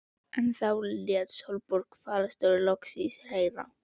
En þá lét Sólborg fararstjóri loks í sér heyra.